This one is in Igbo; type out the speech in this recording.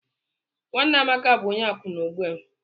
Nwanne Amaka bụ onye akwụna ugbu a.